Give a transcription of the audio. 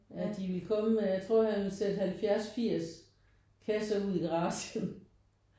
Ja de ville komme med jeg tror han satte 70 80 kasser ud i garagen